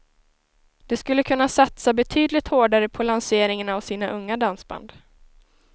De skulle kunna satsa betydligt hårdare på lanseringen av sina unga dansband.